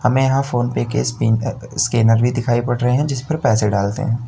हमें यहां फोन पे के स्पिन अ अ स्कैनर भी दिखाई पड़ रहे हैं जिस पर पैसे डालते हैं।